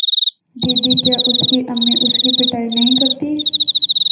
दीदी क्या उसकी अम्मी उसकी पिटाई नहीं करतीं